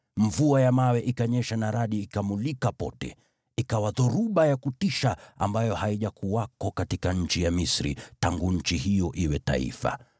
mvua ya mawe ikanyesha na radi ikamulika pote. Ikawa dhoruba ya kutisha ambayo haijakuwako katika nchi ya Misri, tangu nchi hiyo iwe taifa.